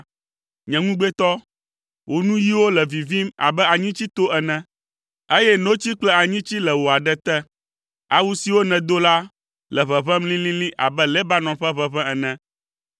Nye ŋugbetɔ, wò nuyiwo le vivim abe anyitsito ene, eye notsi kple anyitsi le wò aɖe te. Awu siwo nèdo la le ʋeʋẽm lĩlĩlĩ abe Lebanon ƒe ʋeʋẽ ene.